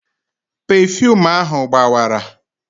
Pefuum ahụ gbawara